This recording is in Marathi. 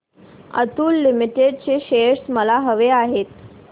अतुल लिमिटेड चे शेअर्स मला हवे आहेत